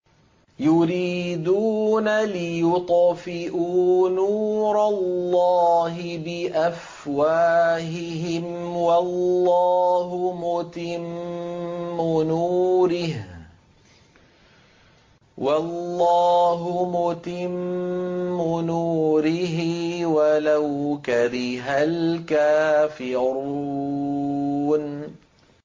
يُرِيدُونَ لِيُطْفِئُوا نُورَ اللَّهِ بِأَفْوَاهِهِمْ وَاللَّهُ مُتِمُّ نُورِهِ وَلَوْ كَرِهَ الْكَافِرُونَ